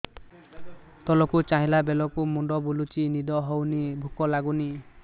ତଳକୁ ଚାହିଁଲା ବେଳକୁ ମୁଣ୍ଡ ବୁଲୁଚି ନିଦ ହଉନି ଭୁକ ଲାଗୁନି